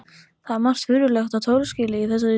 Það er margt mjög furðulegt og torskilið í þessari tillögu.